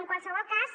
en qualsevol cas